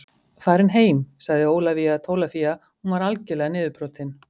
Farin heim, sagði Ólafía Tólafía, hún var algerlega niðurbrotin.